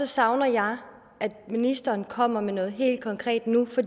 savner jeg at ministeren kommer med noget helt konkret nu for